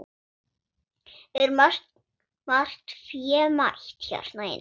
Er margt fémætt hérna inni?